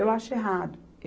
Eu acho errado.